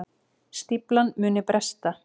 Stíflan muni bresta